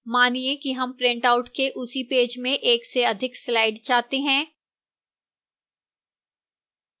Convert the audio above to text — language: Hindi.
मानिए कि हम printout के उसी पेज में एक से अधिक slide चाहते हैं